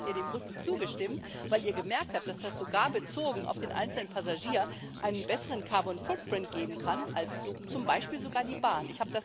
Trotzdem habt ihr den Bussen zugestimmt, weil ihr gemerkt habt, dass das sogar bezogen auf den einzelnen Passagier einen besseren geben kann als zum Beispiel sogar die Bahn.